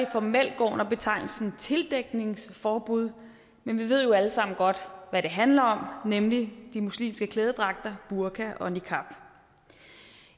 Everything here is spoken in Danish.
formelt går under betegnelsen tildækningsforbud men vi ved jo alle sammen godt hvad det handler om nemlig de muslimske klædedragter burka og niqab